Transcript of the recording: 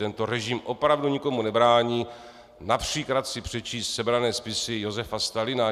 Tento režim opravdu nikomu nebrání například si přečíst sebrané spisy Josifa Stalina.